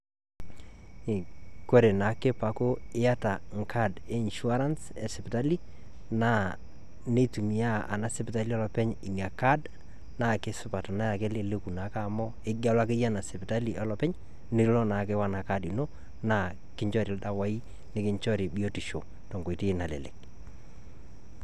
koree naake peaku yaata Enkadi einsurance esipitali naa kitumiai ina sipitali olopeny naa keleleku naake amu kelo ake ina sipitali olopeny naake wenacard ino nikinjori ildawai nikinjori biotisho tenkoitoi nalelek